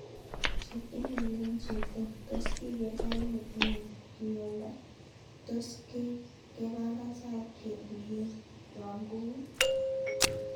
Chop email en Cheptoo. Tos kiger karit netinye ; kioldo ? Tos kepangan sait ketuyen , yogun ?